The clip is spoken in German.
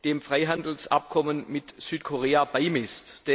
dem Freihandelsabkommen mit Südkorea beimisst.